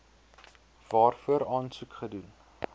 waarvoor aansoek gedoen